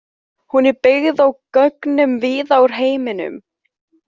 Hún er byggð á gögnum víða að úr heiminum.